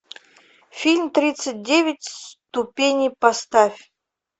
фильм тридцать девять ступеней поставь